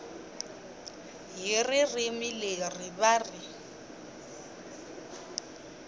hi ririmi leri va ri